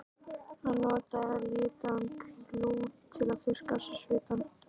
Hann notaði litaðan klút til að þurrka af sér svitann.